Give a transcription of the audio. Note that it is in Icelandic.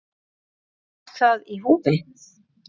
En var það í húfi?